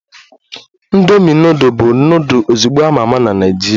Indomi nudul bụ nudul ozugbo a ma ama na Naịjirịa